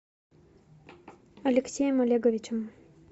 алексеем олеговичем